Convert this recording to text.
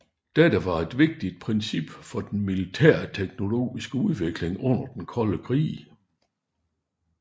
Dette var et vigtigt princip for den militærteknologiske udvikling under den kolde krig